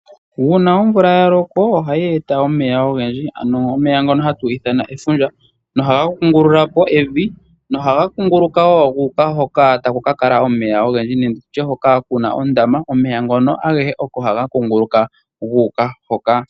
Uuna oya omvula ya loko ohayi eta omeya ogendji ano omeya ngono hatu ithana efundja. Ohaga kungulula po evi nohaga kunguluka wo gu uka hoka taku kakala omeya ogendji nenge tutye hoka kuna ondama. Omeya ngono agehe oko haga kunguluka gu uka.